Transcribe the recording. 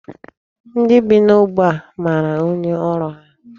Ndị bi n'ógbè a mara onye ọrụ ahụ.